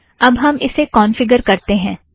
अब हम इसे कौंफ़िगर करते हैं